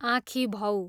आँखीभौँ